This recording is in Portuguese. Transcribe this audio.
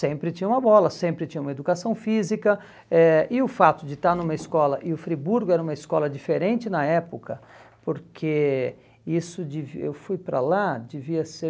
Sempre tinha uma bola, sempre tinha uma educação física, eh e o fato de estar numa escola, e o Friburgo era uma escola diferente na época, porque isso devia, eu fui para lá, devia ser